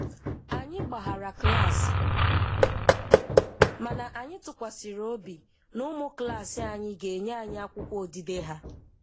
Anyị gbaghara klaasị, mana anyị tụkwasịrị obi na ụmụ klaasị anyị ga-enye anyị akwụkwọ odide ha.